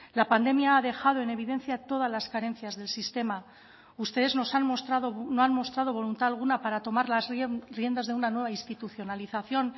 la pandemia ha dejado en evidencia todas las carencias del sistema ustedes nos han mostrado no han mostrado voluntad alguna para tomar las riendas de una nueva institucionalización